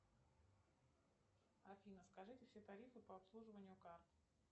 афина скажите все тарифы по обслуживанию карт